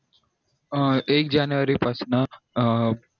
अं एक जानेवारी पासन अं